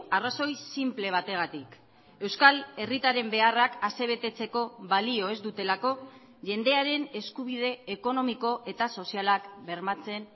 arrazoi sinple bategatik euskal herritarren beharrak asebetetzeko balio ez dutelako jendearen eskubide ekonomiko eta sozialak bermatzen